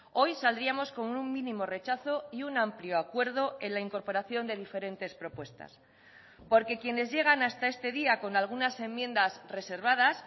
hoy saldríamos con un mínimo rechazo y un amplio acuerdo en la incorporación de diferentes propuestas porque quienes llegan hasta este día con algunas enmiendas reservadas